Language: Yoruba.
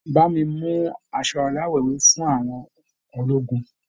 Bá mi mú aṣọ aláwọ̀ ewé fún àwọn ológun.